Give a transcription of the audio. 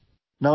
audio